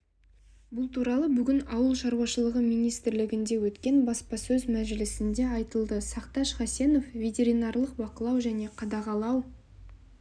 бұл туралы бүгін ауыл шаруашылығы министрлігінде өткен баспасөз мәжілісінде айтылды сақташ хасенов ветеринарлық бақылау және қадағалау